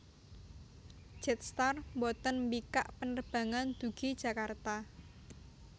Jetstar mboten mbikak penerbangan dugi Jakarta